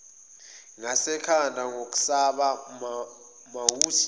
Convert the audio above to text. ngasekhanda ngokusaba wamuthi